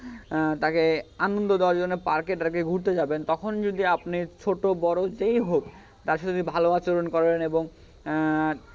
আহ তাকে আনন্দ দেওয়ার জন্য park এ tark এ ঘুরতে যাবেন তখন যদি আপনি ছোট বড়ো যেই হোক তার সাথে যদি ভাল আচরন করেন এবং আহ